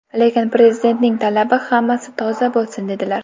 Lekin Prezidentning talabi hammasi ‘toza’ bo‘lsin, dedilar.